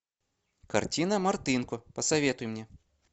картина мартынко посоветуй мне